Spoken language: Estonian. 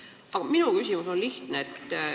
Aga minu küsimus on lihtne.